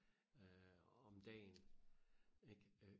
øh om dagen ikke øh